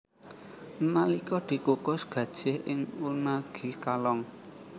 Nalika dikukus gajih ing unagi kalong